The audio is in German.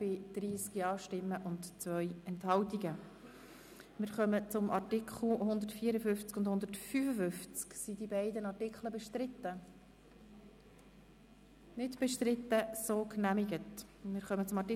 Sie haben den Antrag der SiK-Minderheit mit 97 Nein- gegen 30 Ja-Stimmen bei 2 Enthaltungen abgelehnt.